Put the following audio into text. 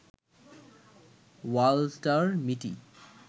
Walter মিটি